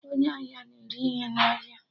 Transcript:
Onye ahịa na-ere ihe na ahịa